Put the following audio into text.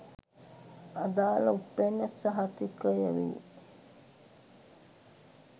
අදාල උප්පැන්න සහතිකය වේ